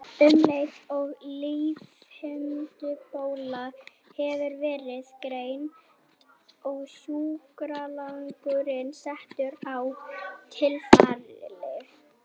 Um leið og lífhimnubólga hefur verið greind er sjúklingurinn settur á sýklalyf.